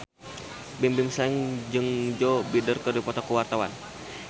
Bimbim Slank jeung Joe Biden keur dipoto ku wartawan